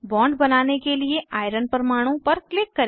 bond बनाने के लिए आयरन परमाणु पर क्लिक करें